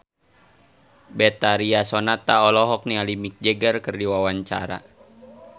Betharia Sonata olohok ningali Mick Jagger keur diwawancara